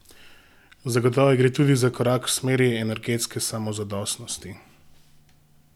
Zagotovo gre tudi za korak v smeri energetske samozadostnosti?